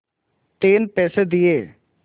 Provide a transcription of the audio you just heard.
तीन पैसे दिए